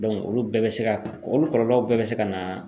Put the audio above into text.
Dɔnku olu bɛɛ be se ka olu kɔlɔlɔw bɛɛ be se ka na